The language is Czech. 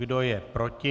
Kdo je proti?